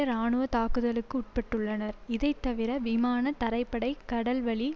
இராணுவ தாக்குதலுக்கு உட்பட்டுள்ளனர் இதைத்தவிர விமான தரைப்படை கடல்வழி